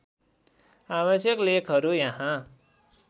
आवश्यक लेखहरू यहाँ